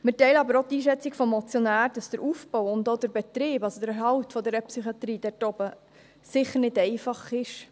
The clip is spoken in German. Wir teilen aber auch die Einschätzung des Motionärs, dass der Aufbau und auch der Betrieb, der Erhalt dieser Psychiatrie dort oben sicher nicht einfach ist.